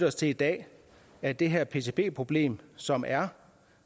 os til i dag at det her pcb problem som er